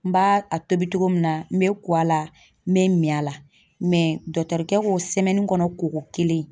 N b'a a tobi cogo min na n bɛ ko a la n bɛ min a la kɛ k'o sɛmɛni kɔnɔ kɔgɔ kelen.